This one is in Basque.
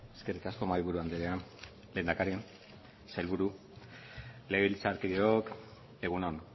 eskerrik asko mahaiburu andrea lehendakari sailburu legebiltzarkideok egun on